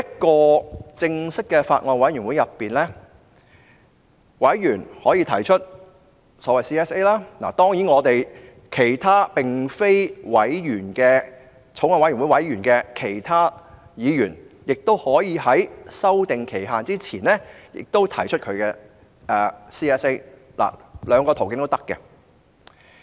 在正式的法案委員會內，委員可以提出委員會審議階段修正案，當然，並非法案委員會中的其他議員亦可在修訂期限前提出自己的 CSA， 兩個途徑皆可行。